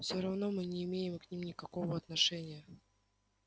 всё равно мы не имеем к ним никакого отношения